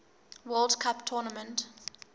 world cup tournament